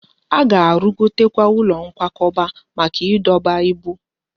A ga-arụgotekwu ụlọ nkwakọba maka ịdọba ibu